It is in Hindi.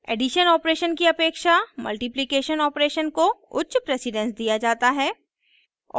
एडिशन ऑपरेशन + की अपेक्षा मल्टिप्लिकेशन ऑपरेशन * को उच्च प्रेसिडेन्स दिया जाता है